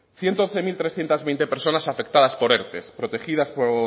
ciento once mil trescientos veinte personas afectadas por erte protegidas por